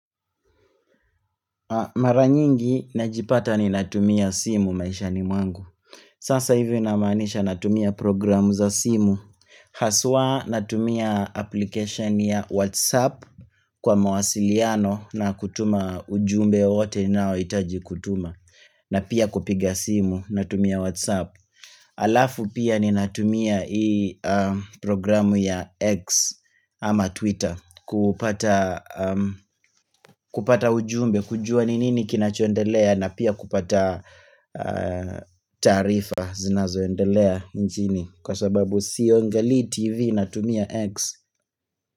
Mara nyingi najipata ni natumia simu maisha ni mwangu Sasa hivyo inamaanisha natumia programu za simu Haswa natumia application ya WhatsApp kwa mawasiliano na kutuma ujumbe ote nao itaji kutuma na pia kupiga simu natumia WhatsApp Alafu pia ni natumia i programu ya X ama Twitter kupata ujumbe kujua ninini kinachondelea na pia kupata taarifa zinazoendelea nchini Kwa sababu siongali TV na tumia X.